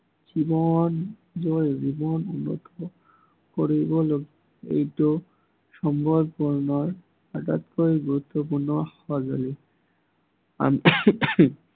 নিজৰ জীৱন উন্নত কৰিবলৈ এইটো সময়পূৰ্ণ আটাইতকৈ গুৰুত্বপূৰ্ণ সঁজুলি